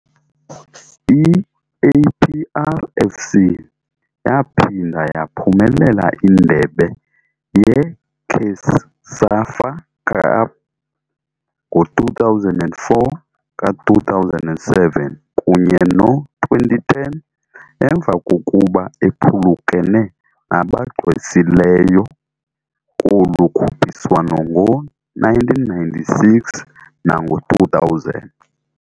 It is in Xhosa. I-APR FC yaphinda yaphumelela indebe ye-CECAFA Cup ngo-2004, ka-2007, kunye no-2010 emva kokuba ephulukene nabagqwesileyo kolu khuphiswano ngo-1996 nango-2000.